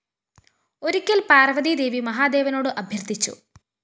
ഒരിക്കല്‍ പാര്‍വ്വതീ ദേവി മഹാദേവനോട് അഭ്യര്‍ത്ഥിച്ചു